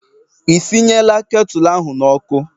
Ị sinyela ketụlụ ahụ n'ọkụ?